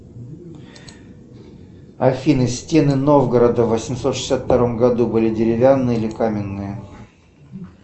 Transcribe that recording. афина стены новгорода в восемьсот шестьдесят втором году были деревянные или каменные